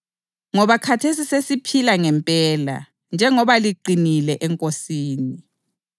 Ngoba khathesi sesiphila ngempela, njengoba liqinile eNkosini.